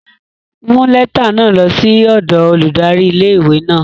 Mu lẹta náa lo si odo óludari ìlé-ìwé náa!